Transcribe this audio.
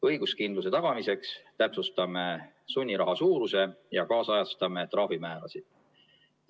Õiguskindluse tagamiseks täpsustame sunniraha suuruse ja kaasajastame trahvimäärasid.